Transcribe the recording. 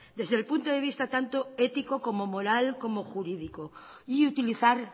desde el punto de vista tanto ético como moral como jurídico y utilizar